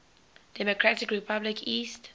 democratic republic east